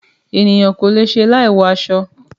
Ènìyàn kò le è ṣe láì wọ aṣọ.